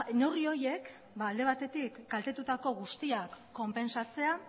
neurri horiek alde batetik kaltetutako guztiak konpentsatzea